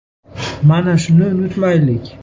Mana shuni unutmaylik.